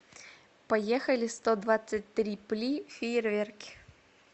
поехали стодвадцатьтрипли фейерверки